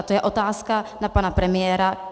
A to je otázka na pana premiéra.